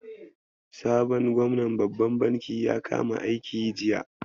Sabon gwamnan babban bankin ya kama aiki jiya.